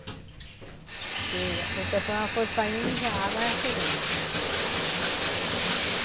Porque o pessoal foi saindo e já a água ia chegando.